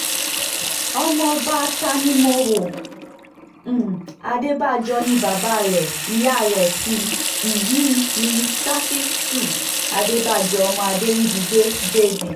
ọmọọba tanimówo um adébàjọ ni bàbá rẹ̀ ìyá rẹ̀ sí um ní ṣáfítù adébàjọ ọmọ adèrìbígbé jb